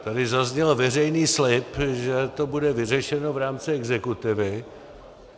Tady zazněl veřejný slib, že to bude vyřešeno v rámci exekutivy.